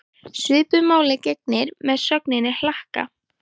Svipuðu máli gegnir með sögnina hlakka.